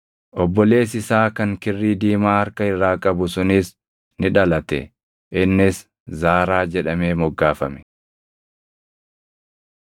Obboleessi isaa kan kirrii diimaa harka irraa qabu sunis ni dhalate; innis Zaaraa jedhamee moggaafame.